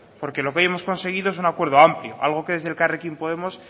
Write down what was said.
porque lo que hoy hemos conseguido es un acuerdo amplio algo que desde elkarrekin podemos